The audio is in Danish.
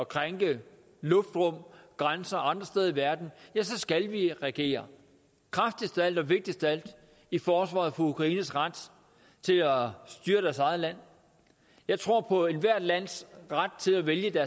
krænke luftrum og grænser andre steder i verden ja så skal vi reagere kraftigst af alt og vigtigst af alt i forsvaret for ukraines ret til at styre deres eget land jeg tror på ethvert lands ret til at vælge